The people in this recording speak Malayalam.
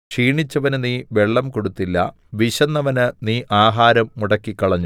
ക്ഷീണിച്ചവന് നീ വെള്ളം കൊടുത്തില്ല വിശന്നവന് നീ ആഹാരം മുടക്കിക്കളഞ്ഞു